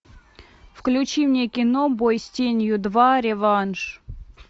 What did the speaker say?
включи мне кино бой с тенью два реванш